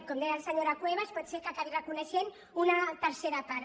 com deia la senyora cuevas pot ser que n’acabi reconeixent una tercera part